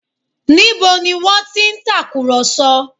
Níbo ni wọ́n ti ń tàkùrọ̀sọ?